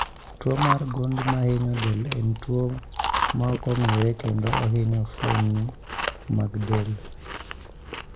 Tuo mar gund mahinyo del en tuo maokong'ere kendo ohinyo fuoni mag del